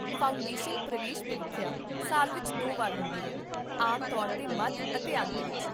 foundation ਪ੍ਰਵੇਸ਼ ਪ੍ਰੀਖਿਆ ਸਾਲ ਵਿੱਚ ਦੋ ਵਾਰ ਹੁੰਦੀ ਹੈ, ਆਮ ਤੌਰ 'ਤੇ ਮੱਧ ਅਤੇ ਅੰਤ ਵਿੱਚ